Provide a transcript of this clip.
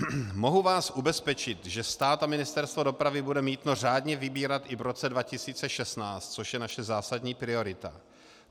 Mohu vás ubezpečit, že stát a Ministerstvo dopravy bude mýto řádně vybírat i v roce 2016, což je naše zásadní priorita.